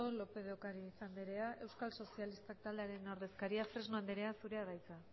lópez de ocariz anderea euskal sozialistak taldearen ordezkaria fresno anderea zurea da hitza